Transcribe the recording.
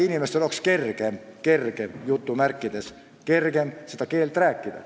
Inimestel peaks nagu olema kergem seda keelt rääkida.